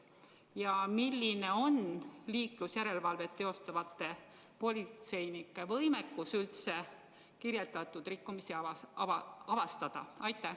Ja milline on liiklusjärelevalvet tegevate politseinike võimekus üldse neid rikkumisi avastada?